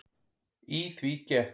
Í því gekk